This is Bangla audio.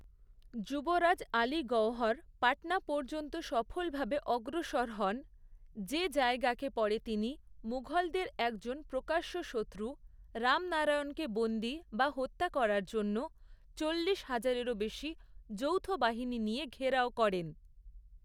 যুবরাজ আলী গওহর পাটনা পর্যন্ত সফলভাবে অগ্রসর হন, যে জায়গাকে পরে তিনি মুঘলদের একজন প্রকাশ্য শত্রু, রামনারায়ণকে বন্দী বা হত্যা করার জন্য চল্লিশ হাজারেরও বেশি যৌথ বাহিনী নিয়ে ঘেরাও করেন।